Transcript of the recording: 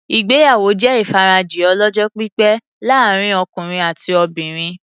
Ìgbéyàwó jẹ́ ìfarajìn ọlọ́jọ́-pípẹ́ láàrin ọkùnrin àti obìnrin.